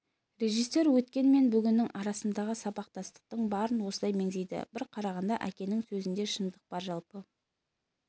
режиссер өткен мен бүгіннің арасындағы сабақтастықтың барын осылай меңзейді бір қарағанда әкенің сөзінде шындық бар жалпы